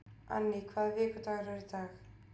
Anne, hvaða vikudagur er í dag?